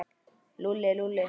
Lúlli, Lúlli.